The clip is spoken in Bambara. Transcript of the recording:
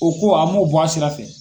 O ko a mun bɔ a sira fɛ.